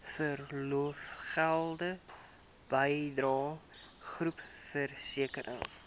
verlofgelde bydrae groepversekering